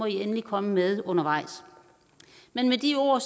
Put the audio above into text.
endelig komme med undervejs med de ord